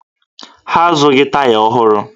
Ha azụghị taya ọhụrụ